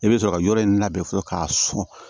I bɛ sɔrɔ ka yɔrɔ in labɛn fɔlɔ k'a sɔn